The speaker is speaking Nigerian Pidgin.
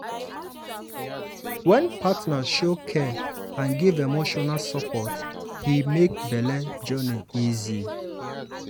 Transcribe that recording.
wen partner show care and give emotional support e make belle journey easy.